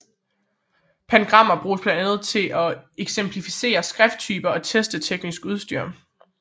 Pangrammer bruges blandt andet til at eksemplificere skrifttyper og teste teknisk udstyr